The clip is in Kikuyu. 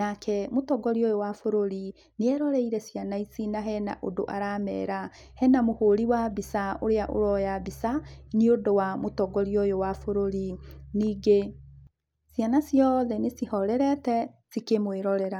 Nake mũtongoria ũyũ wa bũrũri, nĩ eroreire ciana ici na hena ũndũ aramera. Hena mũhũri wa mbica ũrĩa ũroya mbica, nĩũndũ wa mũtongoria ũyũ wa bũrũri. Ningĩ, ciana ciothe nĩcihorerete, cikĩmwĩrorera.